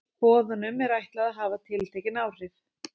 Boðunum er ætlað að hafa tiltekin áhrif.